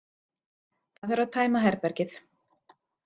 Það þarf að tæma herbergið.